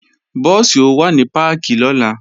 Búùsì ó wà ní páàkì lọ́la